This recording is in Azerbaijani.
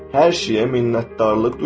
Hər şeyə minnətdarlıq duyur.